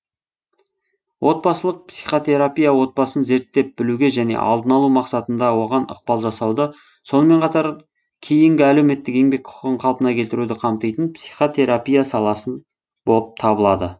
отбасылық психотерапия отбасын зерттеп білуге және алдын алу мақсатында оған ықпал жасауды сонымен қатар кейінгі әлеуметтік еңбек құқығын қалпына келтіруді қамтитын психотерапия саласы боп табылады